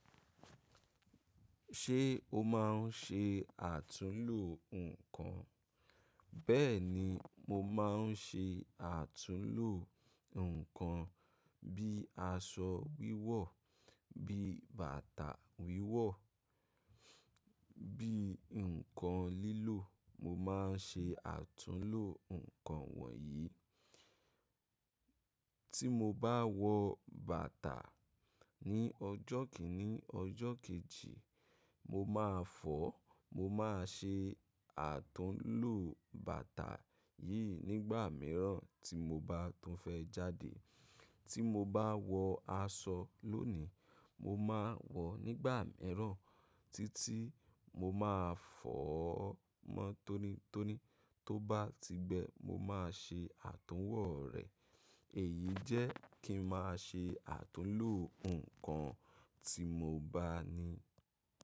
Ṣé o máa ń ṣe àtúnlò nǹkan? Bẹ́ẹ̀ni, mo máa ń ṣe àtúnlò ǹkan bí aṣọ wíwọ̀, bí bàtà wíwọ̀, bí ǹkan lílò. Mo máa ń ṣe àtúnlò ǹkan wọ̀nyí. Tí mo bá wọ bàtà ní ọjọ́ kìíní, ọjọ́ kejì, mo máa fọ̀ ọ́. Mo máa ṣe àtúnlò bàtà yìí nígbà mìíràn tí mo bá tún fẹ́ jáde. Tí mo bá wọ aṣọ lónìí, mo máa wọ̀ ọ́ nígbà mìíràn títí mo máa fọ̀ ọ́ mọ́ tónítóní. Tó bá ti gbẹ, mo máa ṣe àtúnwò rẹ̀. Èyí jẹ́ kí ń máa ṣe àtúnlò ǹkan tí mo bá ní.